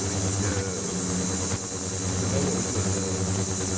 то есть договор идёт